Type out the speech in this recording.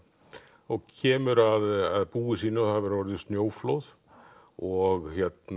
og kemur að búi sínu það hefur orðið snjóflóð og